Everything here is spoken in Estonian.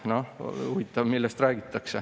[Noh, huvitav, millest räägitakse.